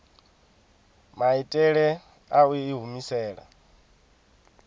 maitele a u i humisela